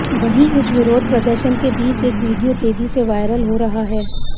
वहीं इस विरोध प्रदर्शन के बीच एक वीडियो तेजी से वायरल हो रहा है